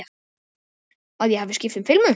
Að ég hafi skipt um filmu.